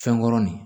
Fɛn kɔrɔ nin